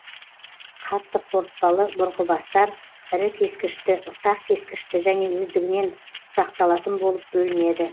қатты қорытпалы бұрғыбастар ірі кескішті ұсақ кескішті және өздігінен ұсақталатын болып бөлінеді